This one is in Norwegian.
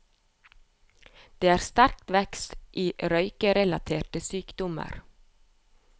Det er sterk vekst i røykerelaterte sykdommer.